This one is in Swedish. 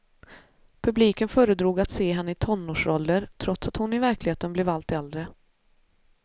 Publiken föredrog att se henne i tonårsroller trots att hon i verkligheten blev allt äldre.